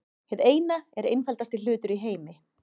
Hið Eina er einfaldasti hlutur í heimi.